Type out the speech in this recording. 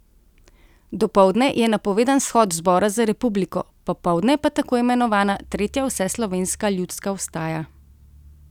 Dopoldne je napovedan shod Zbora za republiko, popoldne pa tako imenovana tretja vseslovenska ljudska vstaja.